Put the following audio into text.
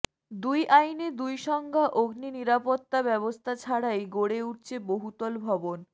দুই আইনে দুই সংজ্ঞা অগ্নিনিরাপত্তা ব্যবস্থা ছাড়াই গড়ে উঠছে বহুতল ভবন